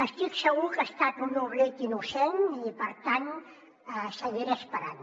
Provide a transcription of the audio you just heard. estic segur que ha estat un oblit innocent i per tant seguiré esperant